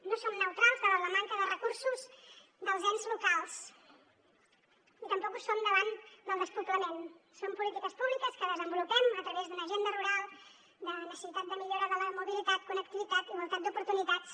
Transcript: no som neutrals davant la manca de recursos dels ens locals i tampoc ho som davant del despoblament són polítiques públiques que desenvolupem a través d’una agenda rural de necessitat de millora de la mobilitat connectivitat igualtat d’oportunitats